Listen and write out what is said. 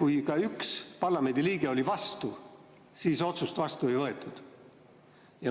kui ka üks parlamendiliige oli vastu, siis otsust vastu ei võetud.